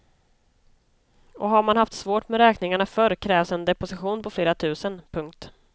Och har man haft svårt med räkningarna förr krävs en deposition på flera tusen. punkt